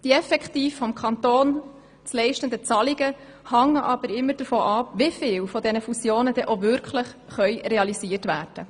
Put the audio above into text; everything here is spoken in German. Die effektiv vom Kanton zu leistenden Zahlungen hängen aber immer davon ab, wie viele dieser Fusionen auch wirklich realisiert werden.